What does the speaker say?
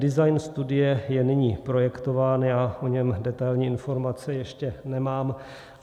Design studie je nyní projektován, já o něm detailní informace ještě nemám.